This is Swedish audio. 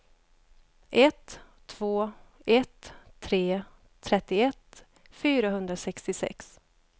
ett två ett tre trettioett fyrahundrasextiosex